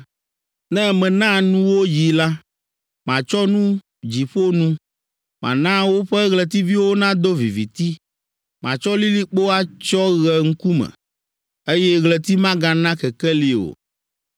Ne mena nuwò yi la, Matsyɔ nu dziƒo nu. Mana woƒe ɣletiviwo nado viviti. Matsɔ lilikpo atsyɔ ɣe ŋkume, Eye ɣleti magana kekeli o.